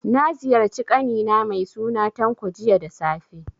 Na ziyarci ƙani na mai suna Tanko, jiya da safe.